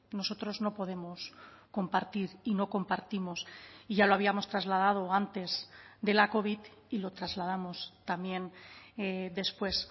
nosotros no podemos compartir y no compartimos y ya lo habíamos trasladado antes de la covid y lo trasladamos también después